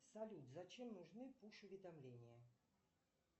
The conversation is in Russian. салют зачем нужны пуш уведомления